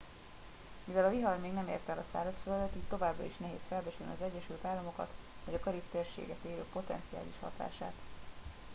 mivel a vihar még nem érte el a szárazföldet így továbbra is nehéz felbecsülni az egyesült államokat vagy a karib térséget érő potenciális hatását